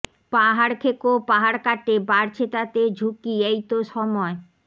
পাহাড়খেকো পাহাড় কাটে বাড়ছে তাতে ঝুঁকি এই তো সময়